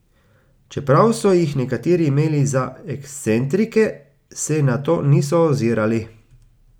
Čeprav so jih nekateri imeli za ekscentrike, se na to niso ozirali.